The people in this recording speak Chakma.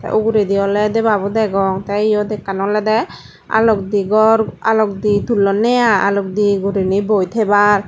te ugure di oley debabu degong te eyot ekkan oledey alokdi gor alokdi tullone ai alokdi gorine boi tebar.